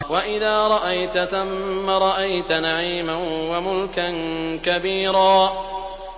وَإِذَا رَأَيْتَ ثَمَّ رَأَيْتَ نَعِيمًا وَمُلْكًا كَبِيرًا